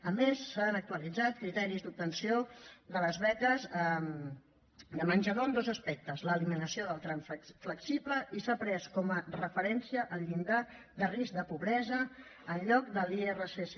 a més s’han actualitzat criteris d’obtenció de les beques menjador en dos aspectes l’eliminació del tram flexible i s’ha pres com a referencia el llindar de risc de pobresa en lloc de l’irsc